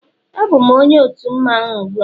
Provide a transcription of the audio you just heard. Abụm onye otu mmanwụ a ugbua